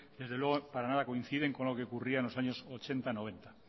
desde luego para nada coinciden con lo que ocurría en los años mil novecientos ochenta mila bederatziehun eta